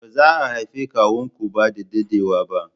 Ba za a haifi kawun ku ba da daɗewa ba